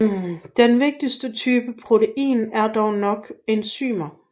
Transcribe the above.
Den vigtigste type protein er dog nok enzymer